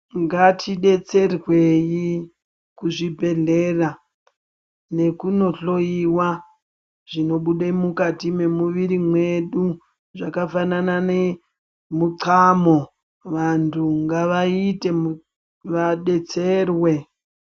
Ngatidetserweyi kuzvibhedhlera, nekunohloyiwa zvinobude mukati memuviri mwedu zvakafanana nemuqhamo. Vantu ngavaite vadetserwe.